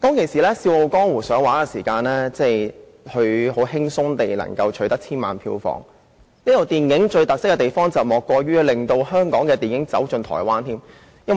"笑傲江湖"當年上映時，輕鬆取得千萬票房，而這齣電影的最大特色，莫過於令香港電影打進台灣。